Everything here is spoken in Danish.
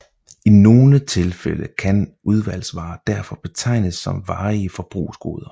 I nogle tilfælde kan udvalgsvarer derfor betegnes som varige forbrugsgoder